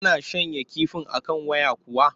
Tana shanya kifin a kan waya kuwa?